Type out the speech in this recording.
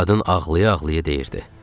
Qadın ağlaya-ağlaya deyirdi.